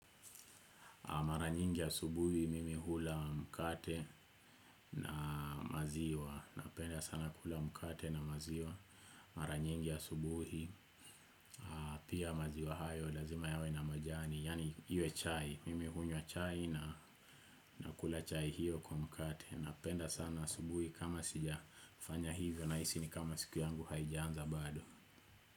Mara nyingi asubuhi mimi hula mkate na maziwa, napenda sana kula mkate na maziwa, mara nyingi asubuhi, pia maziwa hayo lazima yawe na majani, yani iwe chai, mimi hunywa chai na nakula chai hiyo kwa mkate, napenda sana asubuhi kama sijafanya hivyo nahisi ni kama siku yangu haijaanza bado.